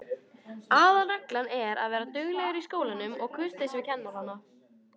Aðalreglan er að vera duglegur í skólanum og kurteis við kennarana.